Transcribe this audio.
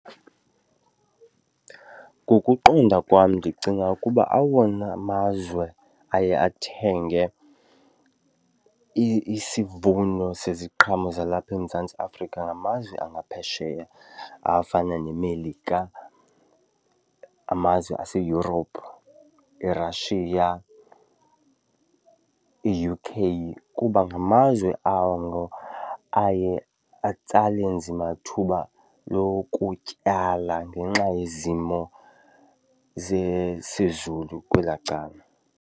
Ngokuqonda kwam ndicinga ukuba awona mazwe aye athenge isivuno seziqhamo zalapha eMzantsi Afrika ngamazwe angaphesheya afana neMelika, amazwe ase-Europe, iRussia, i-U_K kuba ngamazwe ango aye atsale nzima thuba lokutyala ngenxa yezimo zezulu kwelaa cala.